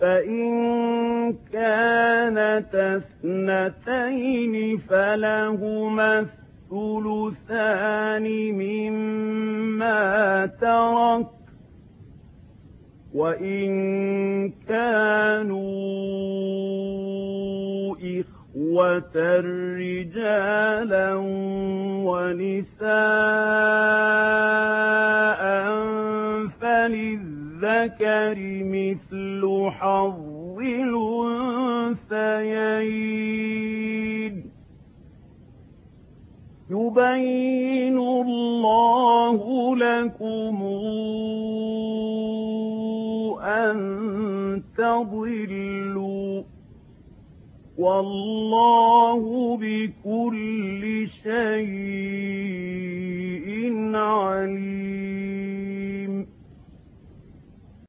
فَإِن كَانَتَا اثْنَتَيْنِ فَلَهُمَا الثُّلُثَانِ مِمَّا تَرَكَ ۚ وَإِن كَانُوا إِخْوَةً رِّجَالًا وَنِسَاءً فَلِلذَّكَرِ مِثْلُ حَظِّ الْأُنثَيَيْنِ ۗ يُبَيِّنُ اللَّهُ لَكُمْ أَن تَضِلُّوا ۗ وَاللَّهُ بِكُلِّ شَيْءٍ عَلِيمٌ